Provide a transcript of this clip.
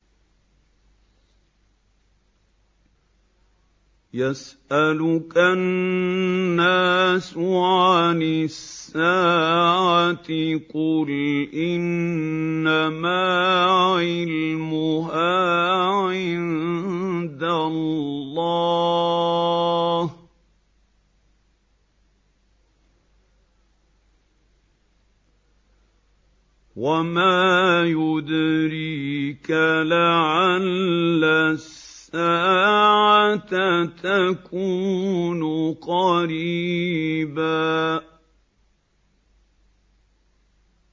يَسْأَلُكَ النَّاسُ عَنِ السَّاعَةِ ۖ قُلْ إِنَّمَا عِلْمُهَا عِندَ اللَّهِ ۚ وَمَا يُدْرِيكَ لَعَلَّ السَّاعَةَ تَكُونُ قَرِيبًا